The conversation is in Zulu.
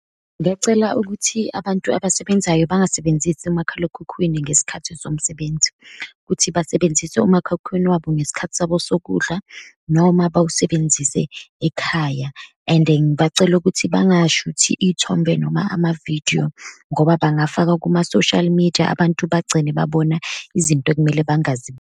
Ngacela ukuthi abantu abasebenzayo bangasebenzisi umakhalekhukhwini ngesikhathi somsebenzi, ukuthi basebenzise umakhalekhukhwini wabo ngesikhathi sabo sokudla, noma bawusebenzisa ekhaya. And ngibacele ukuthi bangashuthi iy'thombe, noma amavidiyo, ngoba bangafaka kuma-social media, abantu bagcine babona izinto ekumele bangazenzi.